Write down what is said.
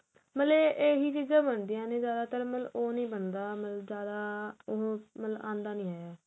ਮਤਲਬ ਏਹ ਚੀਜਾ ਬਣਦੀਆ ਨੇ ਜਿਆਦਾਤਰ ਮਤਲਬ ਉਹ ਨਹੀਂ ਬਣਦਾ ਜਿਆਦਾ ਉਹ ਮਤਲਬ ਆਦਾ ਨਹੀ ਹੈਗਾ